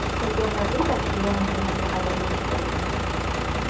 Chempionlar Ligasida yarim finalga qadar yetib borgan.